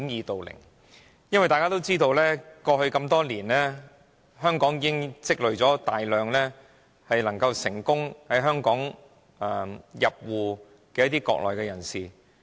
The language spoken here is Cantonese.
大家都知道，過去多年，香港已積累了大量成功入戶的國內人士。